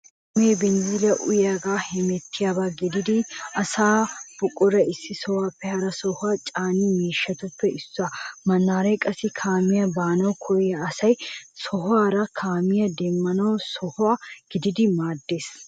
Kaamee binzzilliya uyiyogan hemettiyaba gididi asaanne buqaraa issi sohuwaappe hara sohuwaa caaniya miishshatuppe issuwa. Mannaare qassi kaamiyan baanawu koyida asay sohuwaarakka kaamiya demmiyo soho gididi maaddeees.